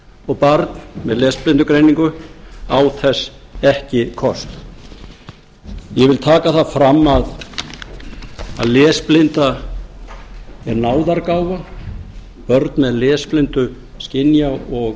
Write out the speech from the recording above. og barn með lesblindugreiningu á þess ekki kost ég vil taka það fram að lesblinda er náðargáfa börn með lesblindu skynja og